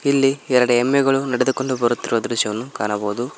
ಇಲ್ಲಿ ಎರಡು ಎಮ್ಮೆಗಳು ನಡೆದುಕೊಂಡು ಬರುತ್ತಿರುವ ದೃಶ್ಯವನ್ನು ಕಾಣಬಹುದು.